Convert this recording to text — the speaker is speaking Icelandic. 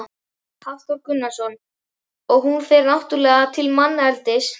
Hafþór Gunnarsson: Og hún fer náttúrulega til manneldis?